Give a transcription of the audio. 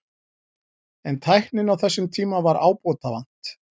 En tækninni á þessum tíma var ábótavant.